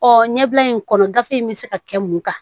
Ɔ ɲɛbila in kɔnɔ gafe in bɛ se ka kɛ mun kan